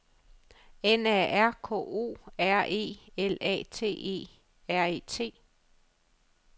N A R K O R E L A T E R E T